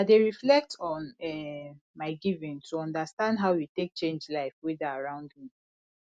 i dey reflect on um my giving to understand how e take change life wey dey around me